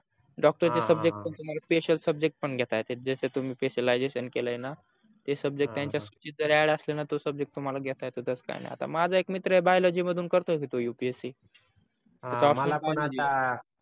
doctor चे subject पण तुम्हाला special subject पण घेता येत जस तुम्ही specialisation केल आहे ना ते subject त्यांच्या सूचित जर aad असलण तो subject तुम्हाला घेता येतो तस काही नाही माझ्या एक मित्र आहे biology मधून करतो की तो upsc हा मला पण आता